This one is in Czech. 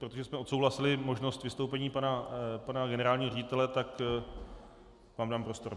Protože jsme odsouhlasili možnost vystoupení pana generálního ředitele, tak vám dám prostor.